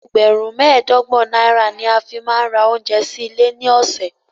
Ẹgbẹ̀rún mẹ́ẹ̀ẹ́dọ́gbọ̀n náírà ni a fi máa ń ra oúnjẹ sí ilé ní ọ̀sẹ̀.